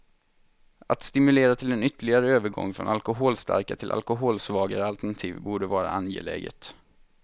Att stimulera till en ytterligare övergång från alkoholstarka till alkoholsvagare alternativ borde vara angeläget.